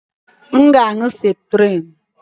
M ga-aṅụ septrim.